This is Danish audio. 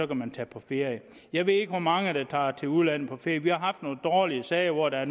kan tage på ferie jeg ved ikke hvor mange der tager til udlandet på ferie vi har haft nogle dårlige sager hvor der